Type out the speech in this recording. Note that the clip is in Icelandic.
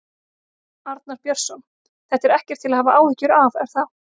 Arnar Björnsson: Þetta er ekkert til að hafa áhyggjur af, er það?